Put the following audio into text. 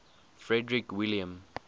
frederick william